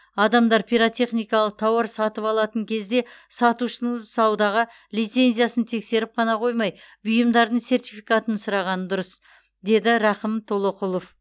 адамдар пиротехникалық тауар сатып алатын кезде сатушының саудаға лицензиясын тексеріп қана қоймай бұйымдардың сертификатын сұрағаны дұрыс деді рақым толоқұлов